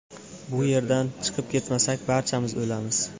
Bu yerdan chiqib ketmasak, barchamiz o‘lamiz.